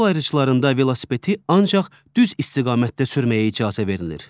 Yol ayrıclarında velosipedi ancaq düz istiqamətdə sürməyə icazə verilir.